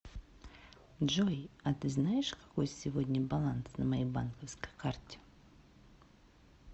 джой а ты знаешь какой сегодня баланс на моей банковской карте